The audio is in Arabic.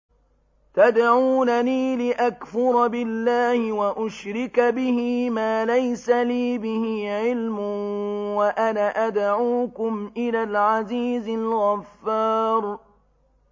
تَدْعُونَنِي لِأَكْفُرَ بِاللَّهِ وَأُشْرِكَ بِهِ مَا لَيْسَ لِي بِهِ عِلْمٌ وَأَنَا أَدْعُوكُمْ إِلَى الْعَزِيزِ الْغَفَّارِ